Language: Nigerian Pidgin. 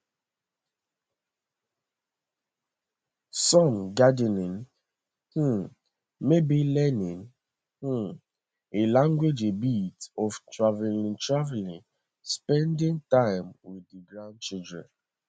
some gardening um maybe learning um a language a bit of travelling travelling spending time with di grandchildren